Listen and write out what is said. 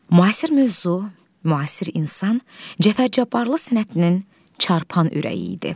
Müasir mövzu, müasir insan Cəfər Cabbarlı sənətinin çarpan ürəyi idi.